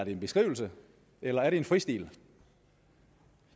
en beskrivelse eller er det en fristil